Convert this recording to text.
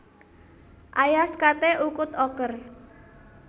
Ayas kate ukut oker